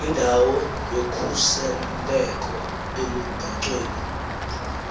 indawo yokhuseleko elubhacweni